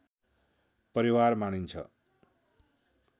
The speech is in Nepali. परिवार मानिन्छ